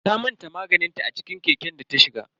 Ta manta maganinta a ciki keken data shiga.